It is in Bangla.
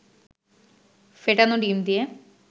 ফেটানো ডিম দিয়ে